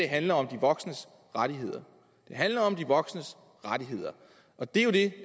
handler om de voksnes rettigheder det handler om de voksnes rettigheder og det er jo det